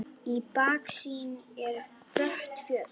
Í baksýn eru brött fjöll.